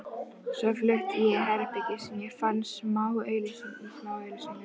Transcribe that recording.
Svo flutti ég í herbergi sem ég fann í smáauglýsingunum.